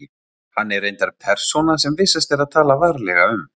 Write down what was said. Hann er reyndar persóna sem vissast er að tala varlega um.